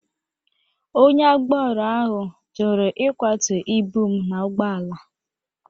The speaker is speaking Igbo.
Onye agbaro ahụ jụrụ ịkwatụ ibụ m na ụgbọ ala.